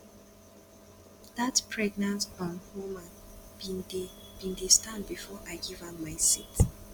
dat pregnant um woman bin dey bin dey stand before i give am my seat